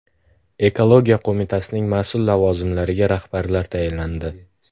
Ekologiya qo‘mitasining mas’ul lavozimlariga rahbarlar tayinlandi.